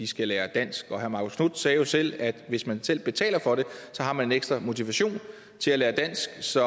skal lære dansk og herre marcus knuth sagde jo selv at hvis man selv betaler for det har man en ekstra motivation til at lære dansk så